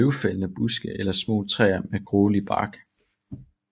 Det er løvfældende buske eller små træer med grålig bark